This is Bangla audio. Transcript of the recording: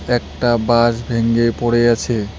একটা বাঁশ ভেঙে পড়ে আছে।